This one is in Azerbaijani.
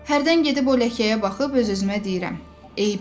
Hərdən gedib o ləkəyə baxıb öz-özümə deyirəm: